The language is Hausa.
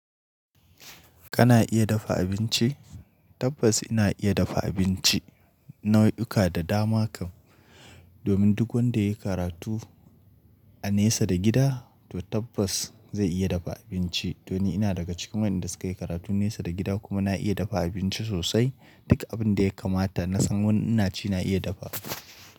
Kana iya dafa abinci? Tabbas ina iya dafa abinci nau'uka da dama kam. Domin duk wanda ya yi karatu a nesa da gida to tabbas zai iya dafa abinci. To ni ina daga cikin waɗanda suka yi karatu nesa da gida kuma na iya dafa abinci sosai. Duka abin da ya kamata na san wani ina ci na iya dafa.